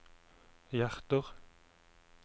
hjerter